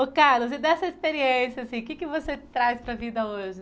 Oh Carlos, e dessa experiência, assim o que que você traz para a vida hoje?